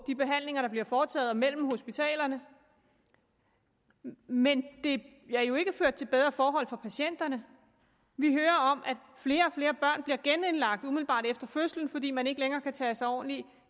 de behandlinger der bliver foretaget og mellem hospitalerne men det har jo ikke ført til bedre forhold for patienterne vi hører om at flere og flere børn bliver genindlagt umiddelbart efter fødslen fordi man ikke længere kan tage sig ordentligt